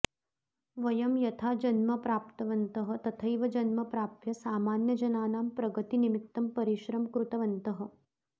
वयं यथा जन्म प्राप्तवन्तः तथैव जन्म प्राप्य सामान्यजनानां प्रगतिनिमित्तं परिश्रमं कृतवन्तः